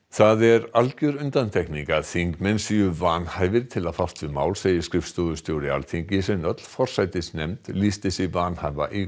það er algjör undantekning að þingmenn séu vanhæfir til að fást við mál segir skrifstofustjóri Alþingis en öll forsætisnefnd lýsti sig vanhæfa í